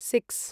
six